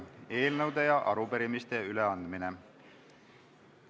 Eelnõude ja arupärimiste üleandmine.